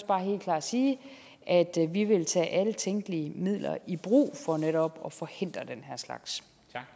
bare helt klart sige at vi vil tage alle tænkelige midler i brug for netop at forhindre den her slags